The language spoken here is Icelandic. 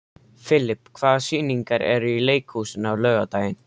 Filip, hvaða sýningar eru í leikhúsinu á laugardaginn?